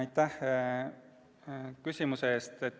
Aitäh küsimuse eest!